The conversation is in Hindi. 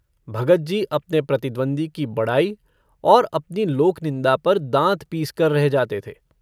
भगतजी अपने प्रतिद्वंदी की बड़ाई और अपनी लोकनिन्दा पर दाँत पीसकर रह जाते थे।